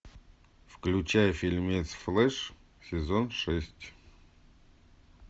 включай фильмец флеш сезон шесть